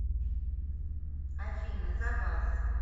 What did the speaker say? афина за вас